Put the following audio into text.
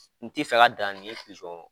N tɛ fɛ ka dan ni pijɔn